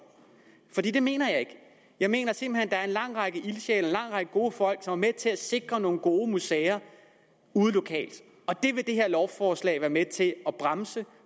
det mener jeg ikke jeg mener simpelt hen at der er en lang række ildsjæle en lang række gode folk som er med til at sikre nogle gode museer ude lokalt og det vil det her lovforslag være med til at bremse